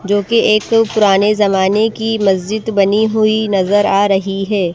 जो कि एक पुराने जमाने की मस्जिद बनी हुई नजर आ रही है।